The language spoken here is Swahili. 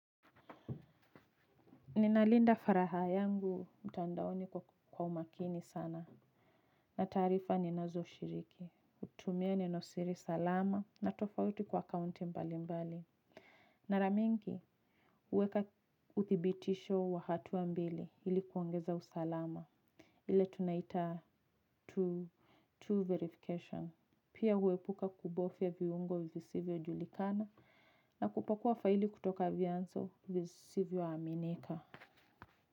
Ninalinda faraha yangu. Mtandaoni kwa umakini sana na taarifa ni nazo shiriki. hutumia nenosiri salama na tofauti kwa akaunti mbali mbali. Maramingi huweka uthibitisho wa hatua mbili ilikuongeza usalama. Ile tunaita two verification. Pia huepuka kubofia viungo visivyo julikana na kupakua faili kutoka vianzo vizisivyo aminika.